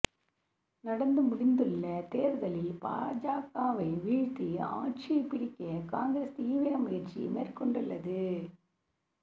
நடந்து முடிந்துள்ள தேர்தலில் பாஜகவை வீழ்த்தி ஆட்சியை பிடிக்க காங்கிரஸ் தீவிர முயற்சி மேற்கொண்டுள்ளது